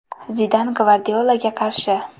Zidan Gvardiolaga qarshi.